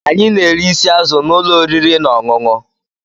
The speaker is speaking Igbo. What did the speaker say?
Anyị na-eri isi azụ na ụlọ oriri na ọṅụṅụ.